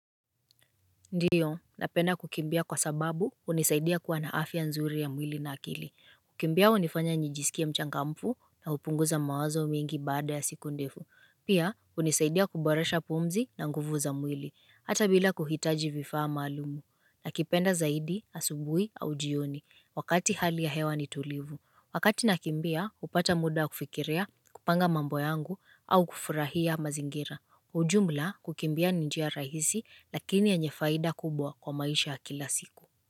Ndiyo, napenda kukimbia kwa sababu hunisaidia kuwa na afya nzuri ya mwili na akili. Kukimbia unifanya nijisikie mchangamfu na hupunguza mawazo mingi baada ya siku ndefu. Pia, hunisaidia kuboresha pumzi na nguvu za mwili. Hata bila kuhitaji vifaa maalumu. Nakipenda zaidi, asubuhi au njioni. Wakati hali ya hewa ni tulivu. Wakati nakimbia, hupata muda wa kufikiria, kupanga mambo yangu au kufurahia mazingira. Jumla kukimbia ni njia rahisi lakini yenye faida kubwa kwa maisha ya kila siku.